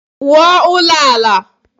Wuo ulo ala.